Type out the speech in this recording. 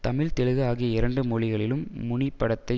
தமிழ் தெலுங்கு ஆகிய இரண்டு மொழிகளிலும் முனி படத்தை